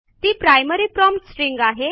ती primary prompt string आहे